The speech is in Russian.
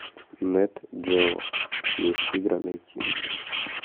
нет джео месть тигра найти